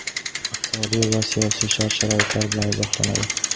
iqtisodiy va siyosiy shart-sharoitlar bilan izohlanadi.